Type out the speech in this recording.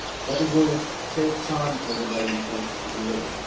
It will take time for the Malian forces to be ready.